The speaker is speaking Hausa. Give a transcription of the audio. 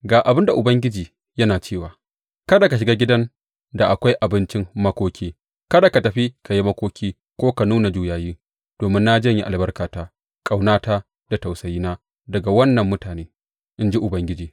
Gama ga abin da Ubangiji yana cewa, Kada ka shiga gidan da akwai abincin makoki; kada ka tafi ka yi makoki ko ka nuna juyayi, domin na janye albarkata, ƙaunata da tausayina daga wannan mutane, in ji Ubangiji.